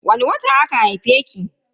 Wani wata aka haife ki?